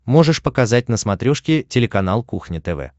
можешь показать на смотрешке телеканал кухня тв